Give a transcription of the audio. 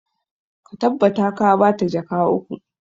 Ka tabbata ka ba ta jaka uku!